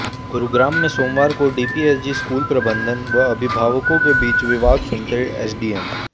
गुरुग्राम में सोमवार को डीपीएसजी स्कूल प्रबंधन व अभिभावकों के बीच विवाद सुनते एसडीएम